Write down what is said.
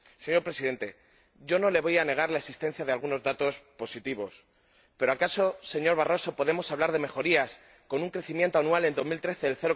Señor Presidente, no le voy a negar la existencia de algunos datos positivos, pero ¿acaso, señor Barroso, podemos hablar de mejorías con un crecimiento anual en el año 2013 de